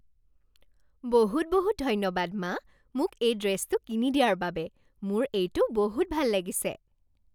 বহুত বহুত ধন্যবাদ, মা! মোক এই ড্ৰেছটো কিনি দিয়াৰ বাবে, মোৰ এইটো বহুত ভাল লাগিছে।